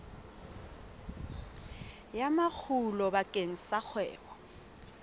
ya makgulo bakeng sa kgwebo